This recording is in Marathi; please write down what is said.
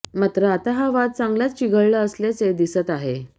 मात्र आता हा वाद चांगलाच चिघळला असल्याचे दिसत आहे